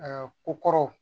ko kɔrɔ